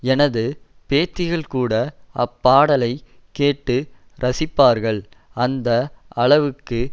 எனது பேத்திகள்கூட அப்பாடலை கேட்டு ரசிப்பார்கள் அந்த அளவுக்கு